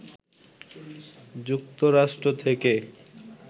যুক্তরাষ্ট্র থেকে